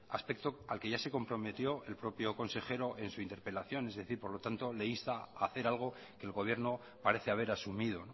aspecto al que ya se comprometió el propio consejero en su interpelación es decir por lo tanto le insta a hacer algo que el gobierno parece haber asumido